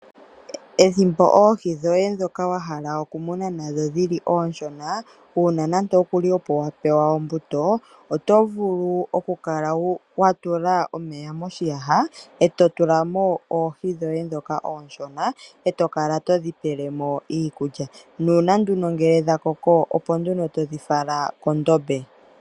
Ethimbo oohi dhoye ndhoka wahala okumuna nadho dhili oonshona uuna nande okuli opo wa pewa ombuto oto vulu okukala wa tula omeya moshiyaha to tula mo oohi dhoye ndhoka oonshona to kala todhi pele mo iikulya nuuna nduno dhakoko opo todhi fala kondombe.